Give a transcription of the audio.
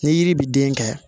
Ni yiri bi den kɛ